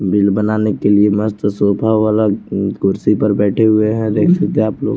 Bill बनाने के लिये मस्त सोफ़ा वाला कुर्सी पर बैठे हुए हैं देख सकते हैं आप लोग।